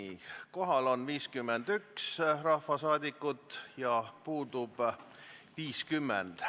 Kohaloleku kontroll Kohal on 51 rahvasaadikut ja puudub 50.